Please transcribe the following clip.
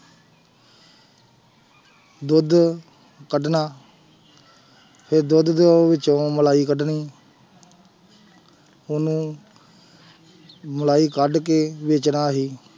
ਦੁੱਧ ਕੱਢਣਾ ਫਿਰ ਦੁੱਧ ਦੇ ਵਿੱਚ ਮਲਾਈ ਕੱਢਣੀ ਉਹਨੂੰ ਮਲਾਈ ਕੱਢ ਕੇ ਵੇਚਣਾ ਅਸੀਂ।